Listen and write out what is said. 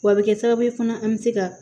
W'a bɛ kɛ sababu ye fana an bɛ se ka